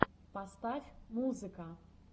поставь музыка